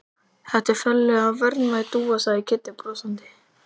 Þetta er ferlega verðmæt dúfa segir Kiddi brosandi.